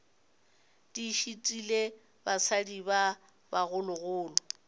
di šitile basadi ba bogologolo